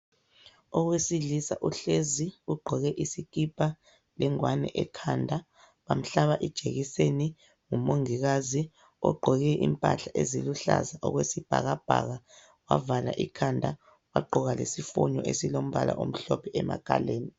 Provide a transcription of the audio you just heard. Owesilisa uhlezi, ugqoke isikipa lengwane ekhanda bamhlaba ijekiseni ngumongikazi ogqoke impahla eziluhlaza okwesibhakabhaka wavala ikhanda, wagqoka lesifonyo esilombala omhlophe emakhaleni.